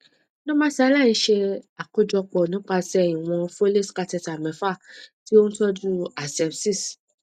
normalsaline ṣe àkójọpọ nípasẹ ìwọn foleys catheter mẹfà tí ó ń tọjú asepsis